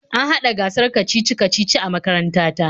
An hada gasar kacici-kacici a makaranta ta.